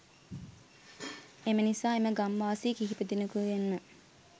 එම නිසා එම ගම් වාසී කීප දෙනෙකුගෙන්ම